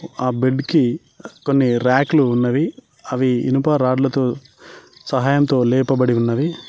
ఆ బెడ్ కి కొన్ని ర్యాక్లు ఉన్నవి అవి ఇనుప రాడ్లతో సహాయంతో లేపబడి ఉన్నవి.